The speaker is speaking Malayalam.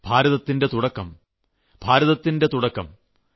ഭാരതത്തിന്റെ തുടക്കം ഭാരതത്തിന്റെ തുടക്കം